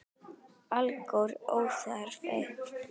Alger óþarfi.